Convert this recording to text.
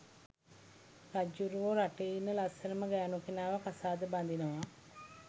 රජ්ජුරුවෝ රටේ ඉන්න ලස්සනම ගැනු කෙනාව කසාද බදිනවා